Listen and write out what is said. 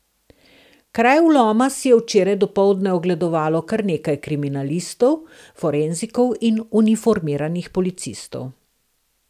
Kraj vloma si je včeraj dopoldne ogledovalo kar nekaj kriminalistov, forenzikov in uniformiranih policistov.